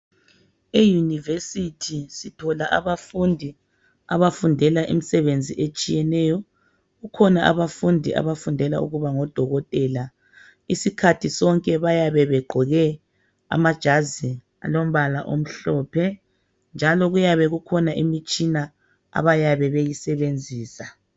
Euniversity sithola abafundi abafundela imisebenzi etshiyeneyo, kukhona abafundi abafundela ukuba ngodokotela, isikhathi sonke bayabe begqoke amajazi alombala omhlophe njalo kuyabe kukhona imitshina abayabe beyisebenzisa.